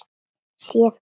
Séð hvað?